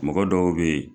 Mɔgɔ dɔw be yen